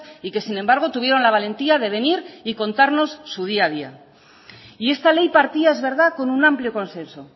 y que sin embargo tuvieron la valentía de venir y contarnos su día a día y esta ley partía es verdad con un amplio consenso